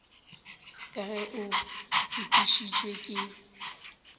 ka ge o fetišitšwe ke